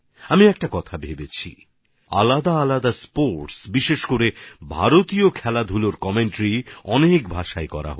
আমার মনে একটা ভাবনা আছেআলাদা আলাদা খেলা বিশেষ করে ভারতীয় খেলার ভালো ধারাভাষ্য আরও বেশি ভাষাতে কেন হবে না